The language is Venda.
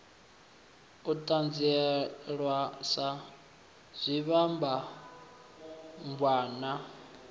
u ṱanzielwa sa zwivhambadzwann a